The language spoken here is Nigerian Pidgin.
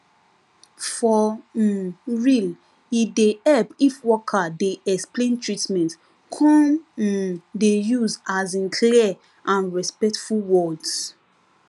for um real e dey help if worker dey explain treatment come um dey use as in clear and respectful words